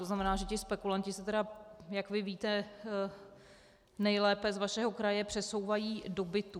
To znamená, že ti spekulanti se tedy, jak vy víte nejlépe z vašeho kraje, přesouvají do bytů.